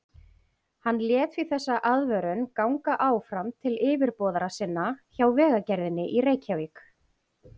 Hann lét því þessa aðvörun ganga áfram til yfirboðara sinna hjá Vegagerðinni í Reykjavík.